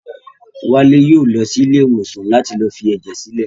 Wálé yóò lọ sí ilé ìwòsàn láti lọ fi ẹ̀jẹ̀ sílẹ̀